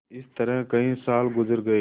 इस तरह कई साल गुजर गये